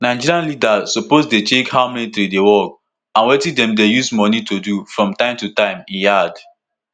"nigerian leaders suppose dey check how military dey work and wetin dem dey use money do from time to time" e add.